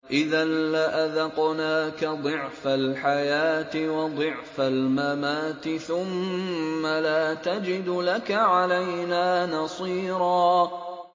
إِذًا لَّأَذَقْنَاكَ ضِعْفَ الْحَيَاةِ وَضِعْفَ الْمَمَاتِ ثُمَّ لَا تَجِدُ لَكَ عَلَيْنَا نَصِيرًا